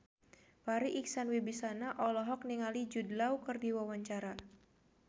Farri Icksan Wibisana olohok ningali Jude Law keur diwawancara